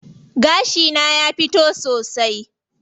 Gashi na ya fito sosai.